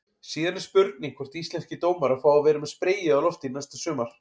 Síðan er spurning hvort íslenskir dómarar fái að vera með spreyið á lofti næsta sumar?